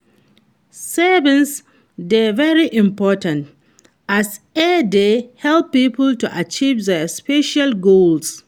saving dey very important, as e dey help people to achieve their financial goals.